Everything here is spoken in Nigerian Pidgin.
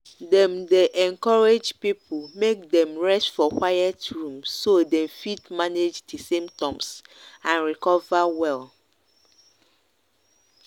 dem dey encourage people make dem rest for quiet room so dem fit manage di symptoms and recover well.